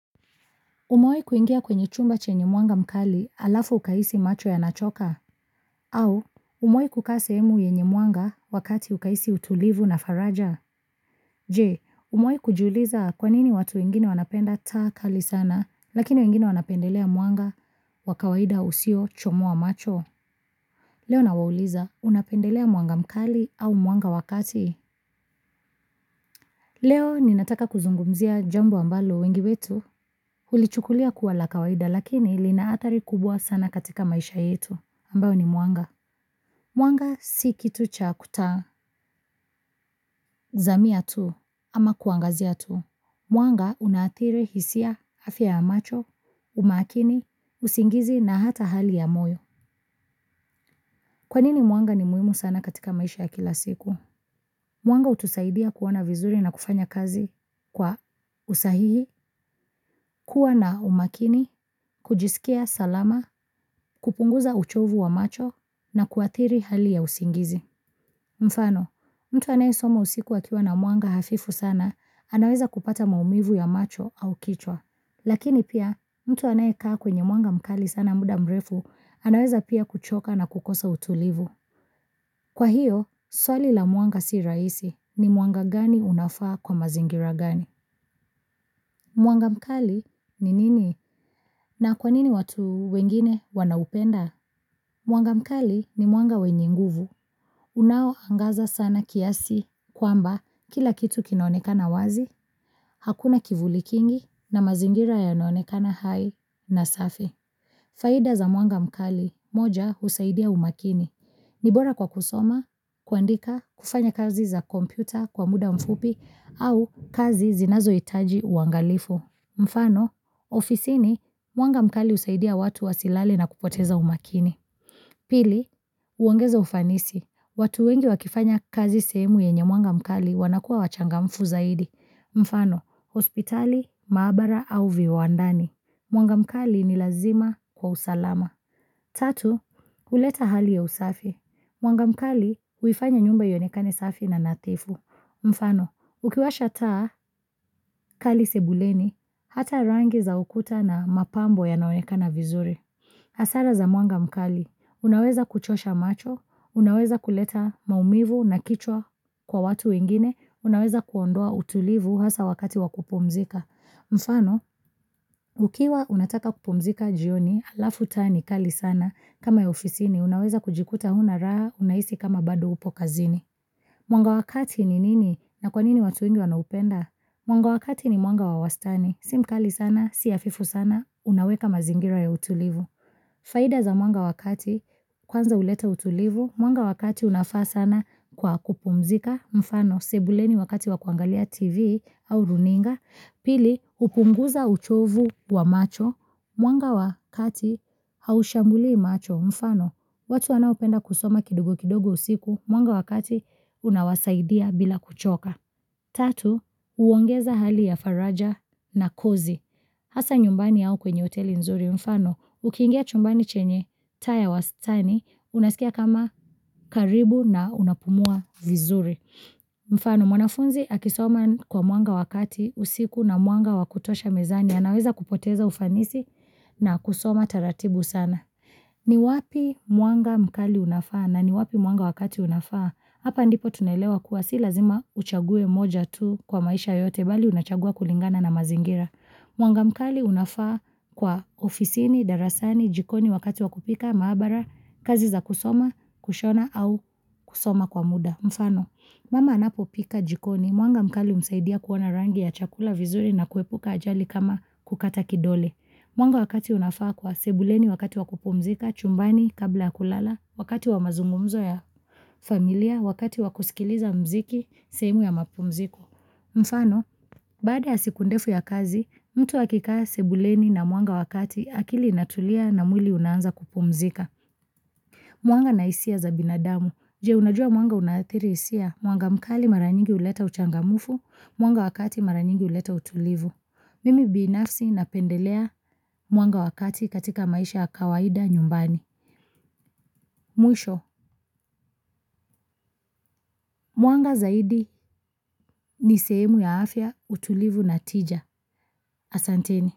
Umewai kuingia kwenye chumba chenye mwanga mkali alafu ukahisi macho ya nachoka. Au, umewahi kukaa sehemu yenye mwanga wakati ukahisi utulivu na faraja. Je, umawahi kujiuliza kwanini watu wengine wanapenda taa kali sana lakini wengine wanapendelea mwanga wa kawaida usio choma macho. Leo na wauliza unapendelea mwanga mkali au mwanga wakati. Leo, ninataka kuzungumzia jambo ambalo wengi wetu. Huli chukulia kuwa la kawaida lakini lina athari kubwa sana katika maisha yetu ambayo ni mwanga. Mwanga si kitu cha kutazamia tu ama kuangazia tu. Mwanga unaathiri hisia afya ya macho, umakini, usingizi na hata hali ya moyo. Kwanini mwanga ni muhimu sana katika maisha ya kila siku? Mwanga hutusaidia kuona vizuri na kufanya kazi kwa usahihi, kuwa na umakini, kujisikia salama, kupunguza uchovu wa macho na kuathiri hali ya usingizi. Mfano, mtu anayesoma usiku akiwa na mwanga hafifu sana, anaweza kupata maumivu ya macho au kichwa. Lakini pia, mtu anayekaa kwenye mwanga mkali sana muda mrefu, anaweza pia kuchoka na kukosa utulivu. Kwa hiyo, swali la mwanga si rahisi ni mwanga gani unafaa kwa mazingira gani? Mwanga mkali ni nini? Na kwa nini watu wengine wanaupenda? Mwanga mkali ni mwanga wenye nguvu. Unao angaza sana kiasi kwamba kila kitu kinaonekana wazi, hakuna kivulikingi na mazingira ya naonekana hai na safi. Faida za mwanga mkali moja husaidia umakini. Nibora kwa kusoma, kuandika, kufanya kazi za kompyuta kwa muda mfupi au kazi zinazo hitaji uangalifu. Mfano, ofisini mwanga mkali husaidia watu wasilale na kupoteza umakini. Pili, huongeza ufanisi. Watu wengi wakifanya kazi sehemu yenye mwanga mkali wanakua wachangamfu zaidi. Mfano, hospitali, maabara au viwandani. Mwanga mkali ni lazima kwa usalama. Tatu, huleta hali ya usafi. Mwanga mkali, huifanya nyumba ionekane safi na nathifu. Mfano, ukiwasha taa kali sebuleni, hata rangi za ukuta na mapambo ya naonekana vizuri. Hasara za mwanga mkali, unaweza kuchosha macho, unaweza kuleta maumivu na kichwa kwa watu wengine, unaweza kuondoa utulivu hasa wakati wakupumzika. Mfano, ukiwa unataka kupumzika jioni halafu taa ni kali sana kama ofisini, unaweza kujikuta huna raha unahisi kama bado upo kazini. Mwanga wa kati ni nini na kwa nini watu wengi wanaupenda? Mwanga wakati ni mwanga wawastani. Simkali sana, si hafifu sana, unaweka mazingira ya utulivu. Faida za mwanga wakati kwanza huleta utulivu, mwanga wakati unafaa sana kwa kupumzika, mfano, sebuleni wakati wakuangalia tv au runinga. Pili, hupunguza uchovu wa macho. Mwanga wakati haushambulii macho. Mfano, watu wanaopenda kusoma kidogo kidogo usiku. Mwanga wakati unawasaidia bila kuchoka. Tatu, huongeza hali ya faraja na kozi. Hasa nyumbani yao kwenye hoteli nzuri. Mfano, ukiingia chumbani chenye, taa ya wastani, unasikia kama karibu na unapumua vizuri. Mfano mwanafunzi akisoma kwa mwanga wakati usiku na mwanga wakutosha mezani anaweza kupoteza ufanisi na kusoma taratibu sana ni wapi mwanga mkali unafaa na ni wapi mwanga wakati unafaa Hapa ndipo tunaelewa kuwa si lazima uchaguwe moja tu kwa maisha yote Bali unachagua kulingana na mazingira Mwanga mkali unafaa kwa ofisini, darasani, jikoni wakati wakupika, maabara kazi za kusoma, kushona au kusoma kwa muda Mfano, mama anapopika jikoni, mwanga mkali humsaidia kuona rangi ya chakula vizuri na kuepuka ajali kama kukata kidole. Mwanga wakati unafaa kwa, sebuleni wakati wakupumzika, chumbani kabla kulala, wakati wamazungumzo ya familia, wakati wakusikiliza mziki, sehemu ya mapumziko. Mfano, baada ya siku ndefu ya kazi, mtu akikaa sebuleni na mwanga wa kati akili inatulia na mwili unaanza kupumzika Mwanga na hisia za binadamu, je unajua mwanga unaathiri hisia, mwanga mkali maranyingi huleta uchangamfu, mwanga wakati maranyingi huleta utulivu Mimi binafsi napendelea mwanga wakati katika maisha ya kawaida nyumbani Mwisho, mwanga zaidi ni sehemu ya afya utulivu na tija, asanteni.